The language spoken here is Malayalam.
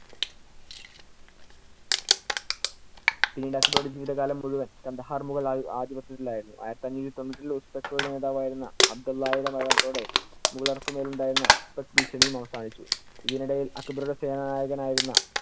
പിന്നീട് അക്ബറുടെ ജീവിതകാലം മുഴുവൻ കാണ്ഡഹാർ മുഗൾ ആ~ ആധിപത്യത്തിൽ ആയിരുന്നു. ആയിരത്തി അഞ്ഞൂറ്റി തൊന്നൂറ്റില്‍ യുടെ നേതാവായിരുന്ന അബ്ദുള്ളയുടെ മരണത്തോടെ മുഗളര്‍ക്കു മേൽ ഉണ്ടായിരുന്ന ഉസ്തക്ക് ഭീഷണിയും അവസാനിച്ചു. ഇതിനിടയിൽ അക്ബറുടെ സേനാനായകൻ ആയിരുന്ന